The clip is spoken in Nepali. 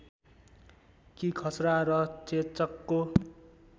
कि खसरा र चेचकको